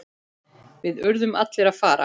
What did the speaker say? Við urðum allir að fara.